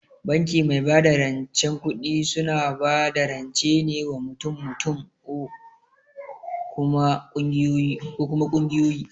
Banki mai bada rancen kuɗi suna bada rance ne wa mutum mutum or kuma kungiyoyi